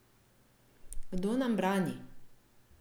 Kdo nam brani?